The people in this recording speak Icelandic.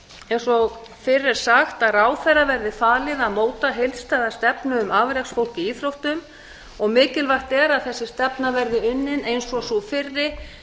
eins og fyrr er sagt að ráðherra verði falið að móta heildstæða stefnu um afreksfólk í íþróttum mikilvægt er að þessi stefna verði unnin eins og sú fyrri